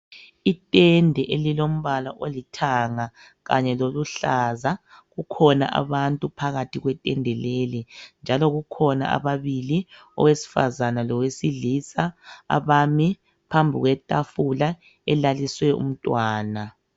Intende elilombala olithanga kanye loluhlaza kukhona abantu phakathi kwetende leli njalo kukhona ababili owesifazana lowesilisa abami phambi kwetafula elaliswe umntwana.